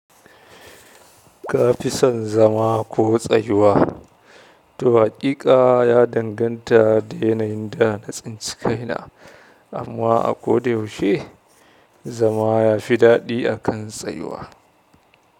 Ka fison zama ko tsayuwa. To haƙiƙa, ya danganta da yanayin da na tsintsikaina, amma a ko da yaushe zama ya fi daɗi akan tsayuwa.